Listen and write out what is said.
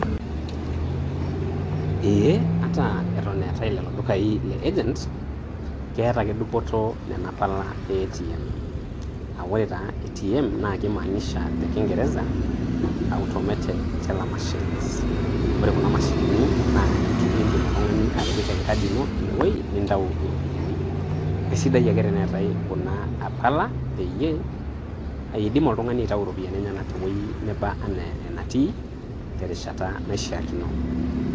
Ee ata eton eetai lelo dukai le agent, keeta ake dupoto nena pala e ATM. Aa ore taa ATM naa kimaanisha te kingereza Automated Teller Machines. Ore kuna mashinini naa iindim oltung'ani atipika enkadi ino ineweueji nitau iropiyiani, kesidai ake teneetai kuna pala peyiee iidim oltung'ani aitayu iropiyiani eny'enak tewueji neba enaa enetii terishata naishiakino.